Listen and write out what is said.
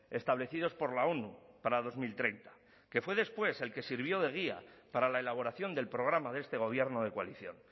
establecidos por la onu para dos mil treinta que fue después el que sirvió de guía para la elaboración del programa de este gobierno de coalición